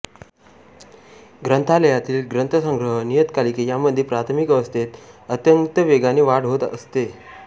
ग्रंथालयातील ग्रंथसंग्रह नियतकालिके यांमध्ये प्राथमिक अवस्थेत अत्यंत वेगाने वाढ होत असते